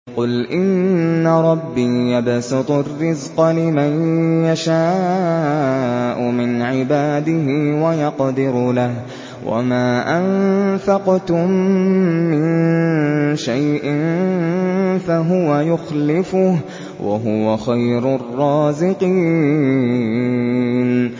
قُلْ إِنَّ رَبِّي يَبْسُطُ الرِّزْقَ لِمَن يَشَاءُ مِنْ عِبَادِهِ وَيَقْدِرُ لَهُ ۚ وَمَا أَنفَقْتُم مِّن شَيْءٍ فَهُوَ يُخْلِفُهُ ۖ وَهُوَ خَيْرُ الرَّازِقِينَ